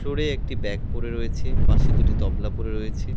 উপরে একটি ব্যাগ পড়ে রয়েছে পাশে দুটি তবলা পড়ে রয়েছে।